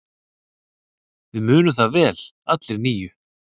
Við munum það vel allir níu.